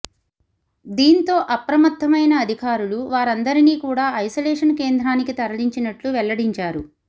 దీంతో అప్రమత్తమైన అధికారులు వారందరిని కూడా ఐసోలేషన్ కేంద్రానికి తరలించినట్లు వెల్లడించారు